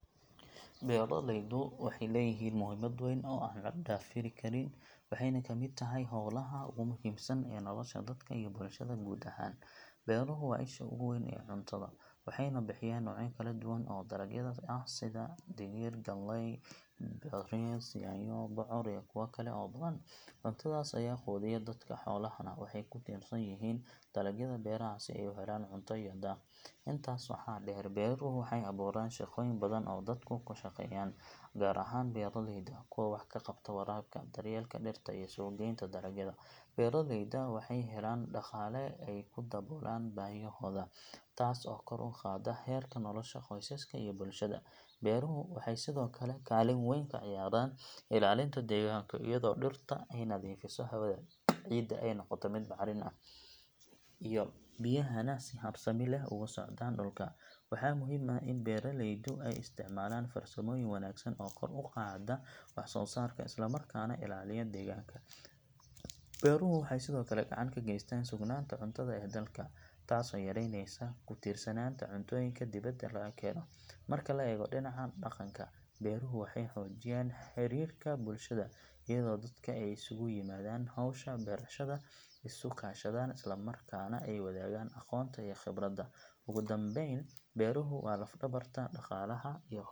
Beeralaydu waxay leeyihiin muhiimad weyn oo aan la dafiri karin, waxayna ka mid tahay hawlaha ugu muhiimsan ee nolosha dadka iyo bulshada guud ahaan. Beeruhu waa isha ugu weyn ee cuntada, waxayna bixiyaan noocyo kala duwan oo dalagyada ah sida digir, galley, bariis, yaanyo, bocor iyo kuwo kale oo badan. Cuntadaas ayaa quudiya dadka, xoolahana waxay ku tiirsan yihiin dalagyada beeraha si ay u helaan cunto iyo daaq. Intaas waxaa dheer, beeruhu waxay abuuraan shaqooyin badan oo dadku ku shaqeeyaan, gaar ahaan beeraleyda, kuwa wax ka qabta waraabka, daryeelka dhirta, iyo suuqgeynta dalagyada. Beeraleyda waxay helaan dhaqaale ay ku daboolaan baahiyahooda, taasoo kor u qaadda heerka nolosha qoysaska iyo bulshada. Beeruhu waxay sidoo kale kaalin weyn ka ciyaaraan ilaalinta deegaanka, iyadoo dhirtu ay nadiifiso hawada, ciidda ay noqoto mid bacrin leh, iyo biyahana si habsami leh ay ugu socdaan dhulka. Waxaa muhiim ah in beeraleydu ay isticmaalaan farsamooyin wanaagsan oo kor u qaada wax soo saarka, isla markaana ilaaliya deegaanka. Beeruhu waxay sidoo kale gacan ka geystaan sugnaanta cuntada ee dalka, taasoo yareysa ku tiirsanaanta cuntooyinka dibadda laga keeno. Marka la eego dhinaca dhaqanka, beeruhu waxay xoojiyaan xidhiidhka bulshada, iyadoo dadka ay isugu yimaadaan hawsha beerashada, isu kaashadaan, isla markaana ay wadaagaan aqoonta iyo khibradda. Ugu dambeyn, beeruhu waa laf-dhabarta dhaqaalaha iyo .